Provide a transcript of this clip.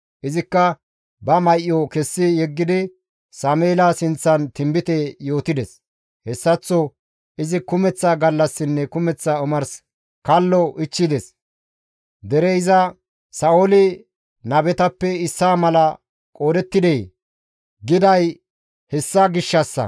Izikka ba may7o kessi yeggidi Sameela sinththan tinbite yootides. Hessaththo izi kumeththa gallassinne kumeththa omars kallo ichchides. Derey iza, «Sa7ooli nabetappe issaa mala qoodettidee?» giday hessa gishshassa.